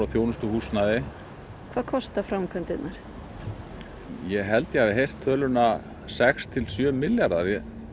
þjónustuhúsnæði hvað kosta framkvæmdirnar ég held ég hafi heyrt töluna sex til sjö milljarðar það